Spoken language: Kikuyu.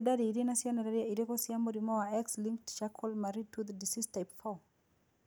Nĩ ndariri na cionereria irĩkũ cia mũrimũ wa X linked Charcot Marie Tooth disease type 4?